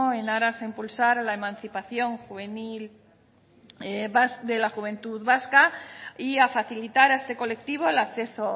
en aras a impulsar a la emancipación juvenil de la juventud vasca y a facilitar a este colectivo el acceso